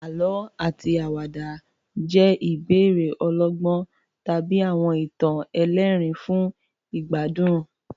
Àlọ́ àti àwàdà jẹ́ ìbéèrè ọlọ́gbọ́n tàbí àwọn ìtàn ẹlẹ́rìn-ín fún ìgbádùn.